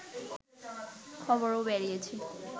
খবরও বেরিয়েছে